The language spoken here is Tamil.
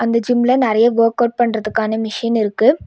இந்த ஜிம்ல நறைய வோர்கவுட் பண்றதுக்கான மிஷின் இருக்கு.